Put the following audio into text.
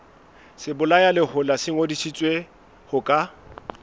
sebolayalehola se ngodisitswe ho ka